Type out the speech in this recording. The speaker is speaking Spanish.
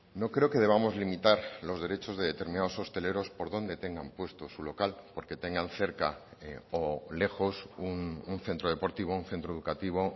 no creo que debamos limitar los derechos de determinados hosteleros por dónde tengan puesto su local porque tengan cerca o lejos un centro deportivo un centro educativo o